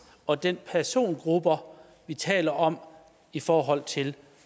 og den persongruppe vi taler om i forhold til